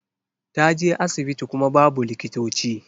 Ta je asibiti kuma babu likitoci.